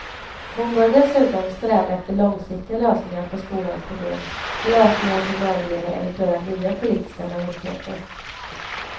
Hon bör dessutom sträva efter långsiktiga lösningar på skolans problem, lösningar som överlever eventuella nya politiska majoriteter.